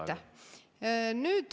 Aitäh!